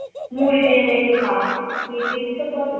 মুড়ি দিয়ে মেখে খায় খেতে ইচ্ছা করে